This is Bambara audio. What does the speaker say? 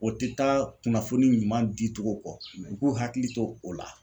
O tɛ taa kunnafoni ɲuman di cogo kɔ u k'u hakili to o la.